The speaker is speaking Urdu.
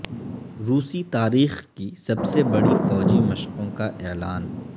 روسی تاریخ کی سب سے بڑی فوجی مشقوں کا اعلان